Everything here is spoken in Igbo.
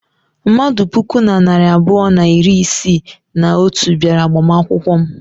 Mmadụ puku na narị abụọ na iri isii na otu bịara agbamakwụkwọ m.